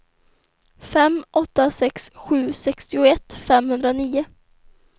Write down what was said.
fem åtta sex sju sextioett femhundranio